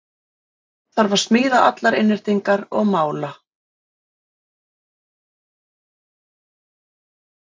Það þarf að smíða allar innréttingar og mála.